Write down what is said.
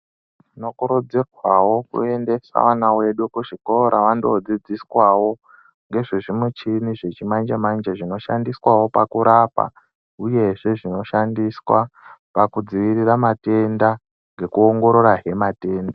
Tinokurudzirwawo kuyendese vana vedu kuzvikora wandodzidziswawo, ngezvezvimuchini zvechimanje manje zvinoshandiswawo pakurapa, uyezve zvinoshandiswa pakudzivirira matenda ngekuwongorora zvematenda.